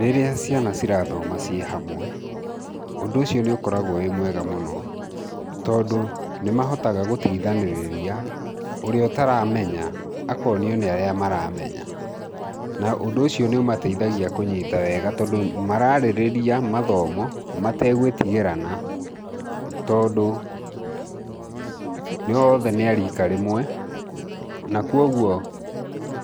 Rĩrĩa ciana ci rathoma ciĩ hamwe ũndũ ũcio nĩ ũkoragwo wĩ mwega mũno tondũ nĩ mahotaga gũteithanirĩria, ũrĩa ũtaramenya akonĩo nĩ arĩa maramenya. Na ũndũ ũcio nĩ ũmateithagia kũnyita wega tondũ mararĩrĩria mathomo mategwĩtigĩrana tondũ othe nĩa rika rĩmwe na koguo